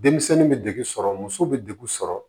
Denmisɛnnin bɛ deg sɔrɔ muso bɛ degu sɔrɔ